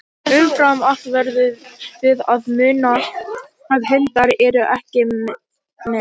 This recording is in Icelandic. Umfram allt verðum við að muna að hundar eru ekki menn.